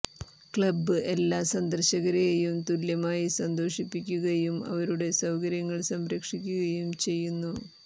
club എല്ലാ സന്ദർശകരേയും തുല്യമായി സന്തോഷിപ്പിക്കുകയും അവരുടെ സൌകര്യങ്ങൾ സംരക്ഷിക്കുകയും ചെയ്യുന്നു